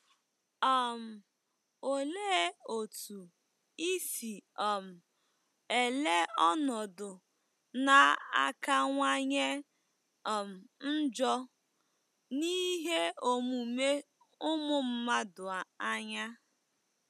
um Olee otú isi um ele ọnọdụ na-akawanye um njọ n'ihe omume ụmụ mmadụ anya?